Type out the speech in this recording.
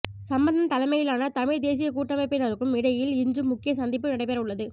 சம்பந்தன் தலைமையிலான தமிழ்த் தேசியக் கூட்டமைப்பினருக்கும் இடையில் இன்று முக்கிய சந்திப்பு நடைபெறவுள்ளது